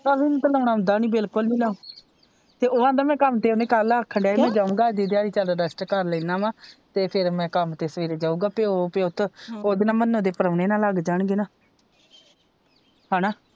ਅਭੀ ਨੂੰ ਤੇ ਲਾਉਣਾ ਆਉਂਦਾ ਨਹੀਂ ਬਿਲਕੁਲ ਨਹੀਂ ਲਾਉਣਾ ਤੇ ਉਹ ਆਂਦਾ ਮੈ ਕੰਮ ਤੇ ਕਲ ਆਖਣ ਦਿਆ ਹੀ ਮੈ ਜਾਊਗਾ ਅੱਜ ਦੀ ਦਿਹਾੜੀ ਚਲ ਰੈਸਟ ਕਰ ਲੈਣਾ ਵ ਤੇ ਫਿਰ ਮੈ ਕੰਮ ਤੇ ਸਵੇਰੇ ਜਾਊਗਾ ਪਿਓ ਪੁੱਤ ਓਦੇ ਨਾ ਮੰਨੋ ਦੇ ਪ੍ਰੋਹਣੇ ਨਾ ਲੱਗ ਜਾਣਗੇ ਨਾ ਹੇਨਾ।